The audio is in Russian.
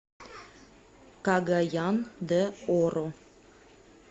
кагаян де оро